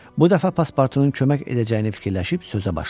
Bu dəfə Paspartunun kömək edəcəyini fikirləşib sözə başladı.